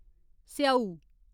स्येऊ